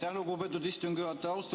Aitäh, lugupeetud istungi juhataja!